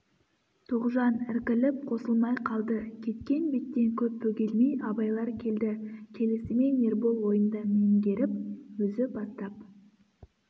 тоғжан іркіліп қосылмай қалды кеткен беттен көп бөгелмей абайлар келді келісімен ербол ойынды меңгеріп өзі бастап